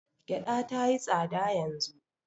Gyaɗa ta yi tsada yanzu.